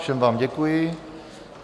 Všem vám děkuji.